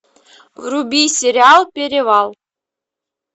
вруби сериал перевал